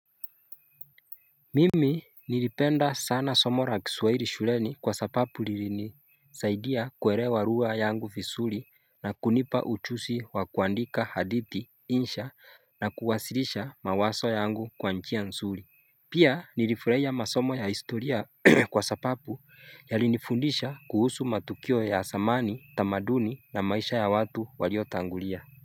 Mimi nilipenda sana somo la kiswahili shuleni kwa sababu lilinisaidia kuelewa lugha yangu vizuri na kunipa ujuzi wa kuandika hadithi, insha na kuwasilisha mawazo yangu kwa njia nzuri. Pia nilifurahia masomo ya historia kwa sababu yalinifundisha kuhusu matukio ya zamani, tamaduni na maisha ya watu walio tangulia.